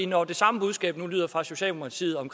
når det samme budskab nu lyder fra socialdemokratiet om